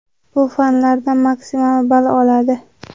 bu fanlardan maksimal ball oladi.